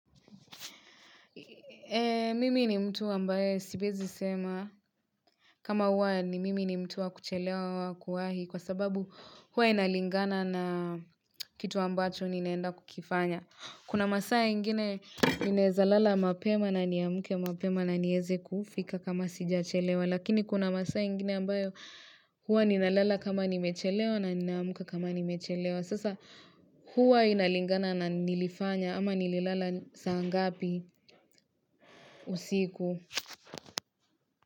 Eee, mimi ni mtu ambayo siwezi sema kama huwa ni mimi ni mtu wa kuchelewa kwa kuwahi kwa sababu huwa inalingana na kitu ambacho ninaenda kukifanya. Kuna masaa ingine ninaeza lala mapema na niamke mapema na nieze kufika kama sijachelewa. Lakini kuna masaa ingine ambayo huwa ninalala kama nimechelewa na ninaamka kama nimechelewa. Sasa huwa inalingana na nilifanya ama nililala saa ngapi usiku.